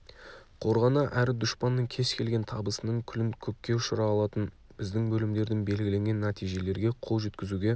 қорғана әрі дұшпанның кез келген табысының күлін көкке ұшыра алатын біздің бөлімдердің белгіленген нәтижелерге қол жеткізуге